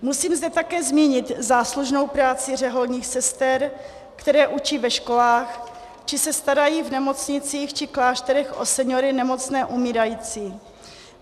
Musím zde také zmínit záslužnou práci řeholních sester, které učí ve školách či se starají v nemocnicích či klášterech o seniory, nemocné, umírající.